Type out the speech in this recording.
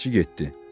Bələdçi getdi.